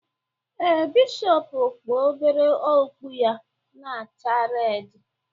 Ee, Bishọpu kpu obere okpu ya na-acha redi